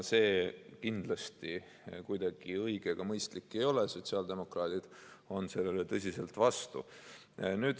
See kindlasti õige ega mõistlik ei ole, sotsiaaldemokraadid on sellele tõsiselt vastu.